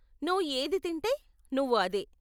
నువ్వు ఏది తింటే, నువ్వు అదే.